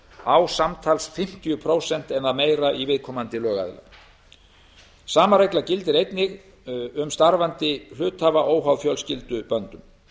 á samtals fimmtíu prósent eða meira í viðkomandi lögaðila sama regla gildir einnig um starfandi hluthafa óháð fjölskylduböndum